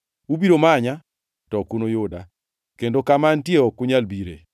Ubiro manya, to ok unuyuda, kendo kama antie ok unyal bire.”